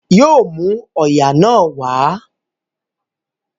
Yóò mú òòyà náà wá